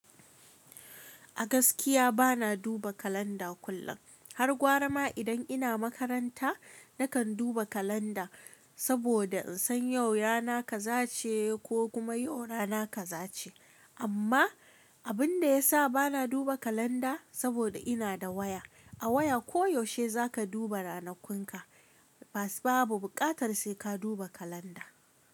A gaskiya bana duba kalanda kullum. Har gwara ma idan ina makaranta nakan duba kalanda saboda in san yau yana ka za ce ko kuma yau rana ka za ce. Amma abin da ya sa bana duba kalanda saboda ina da waya. A waya koyaushe za ka duba ranakunka ba su babu bukatar sai ka duba kalanda.